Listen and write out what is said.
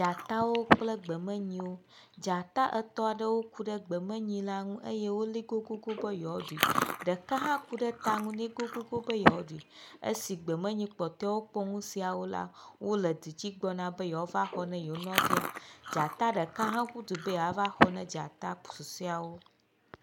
Dzatawo kple gbemenyiwo. Dzata etɔ̃ aɖewo ku ɖe gbemenyi la ŋu eye woli goŋgoŋgoŋ be yewaoɖui. Ɖeka hã ku ɖe ta ŋu nɛ goŋgoŋgoŋ be yewoaɖui. Esi gbemenyi kpɔtɔewo kpɔ nu siawo la wo le dudzi gbɔna be yewoava xɔ na yeewo nɔvia. Dzata ɖeka hã ƒu du be yeava xɔ na dzata susɔeawo.